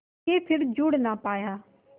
के फिर जुड़ ना पाया